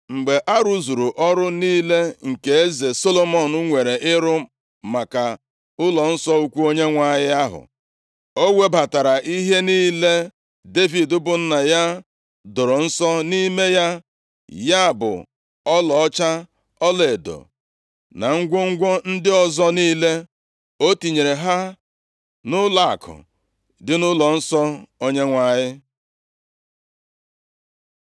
Mgbe a rụzuru ọrụ niile nke eze Solomọn nwere ịrụ maka ụlọnsọ ukwu Onyenwe anyị ahụ, o webatara ihe niile Devid bụ nna ya doro nsọ nʼime ya, ya bụ ọlaọcha, ọlaedo na ngwongwo ndị ọzọ niile. O tinyere ha nʼụlọakụ dị nʼụlọnsọ Onyenwe anyị.